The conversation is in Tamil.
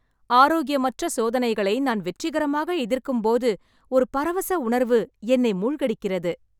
ஆரோக்கியமற்ற சோதனைகளை நான் வெற்றிகரமாக எதிர்க்கும்போது ஒரு பரவச உணர்வு என்னை மூழ்கடிக்கிறது.